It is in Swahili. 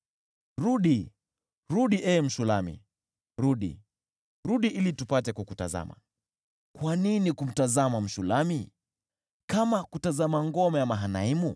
Rudi, rudi, ee Mshulami; rudi, rudi ili tupate kukutazama! Mpenzi Kwa nini kumtazama Mshulami, kama kutazama ngoma ya Mahanaimu?